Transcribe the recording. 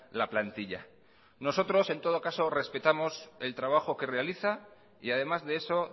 la plantilla nosotros en todo caso respetamos el trabajo que realiza y además de eso